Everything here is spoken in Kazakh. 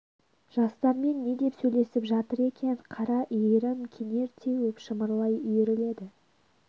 жастармен не деп сөйлесіп жатыр екен қара иірім кенер теуіп шымырлай үйіріледі